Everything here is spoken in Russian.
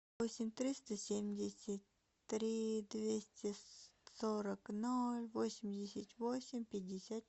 восемь триста семьдесят три двести сорок ноль восемьдесят восемь пятьдесят